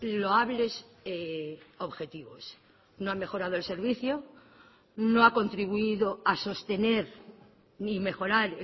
loables objetivos no ha mejorado el servicio no ha contribuido a sostener ni mejorar